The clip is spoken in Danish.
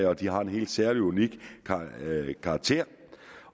og de har en helt særlig og unik karakter